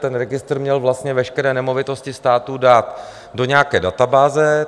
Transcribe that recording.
Ten registr měl vlastně veškeré nemovitosti státu dát do nějaké dababáze.